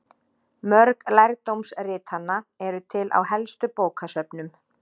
Mörg lærdómsritanna eru til á helstu bókasöfnum.